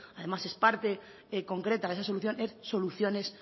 además es parte concreta de estas soluciones